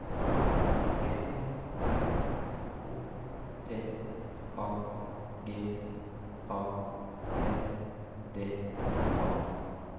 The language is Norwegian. P R O P A G A N D A